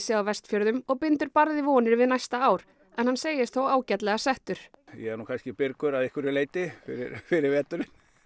á Vestfjörðum og bindur barði vonir við næsta ár en hann segist þó ágætlega settur ég er kannski byrgur fyrir veturinn